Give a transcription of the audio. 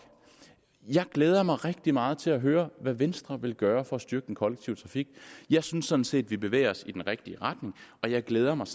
jeg glæder mig rigtig meget til at høre hvad venstre vil gøre for at styrke den kollektive trafik jeg synes sådan set vi bevæger os i den rigtige retning og jeg glæder mig